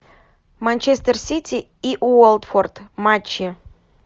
манчестер сити и уотфорд матчи